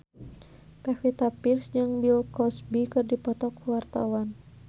Pevita Pearce jeung Bill Cosby keur dipoto ku wartawan